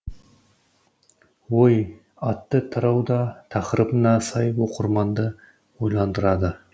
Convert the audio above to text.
ой атты тарау да тақырыбына сай оқырманды ойландырады